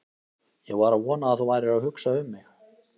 Ég var að vona að þú værir að hugsa um mig!